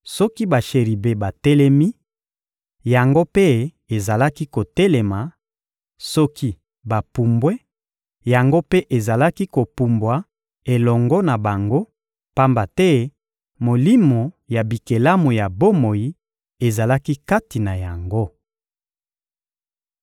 Soki basheribe batelemi, yango mpe ezalaki kotelema; soki bapumbwe, yango mpe ezalaki kopumbwa elongo na bango, pamba te molimo ya bikelamu ya bomoi ezalaki kati na yango.